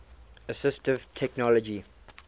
assistive technology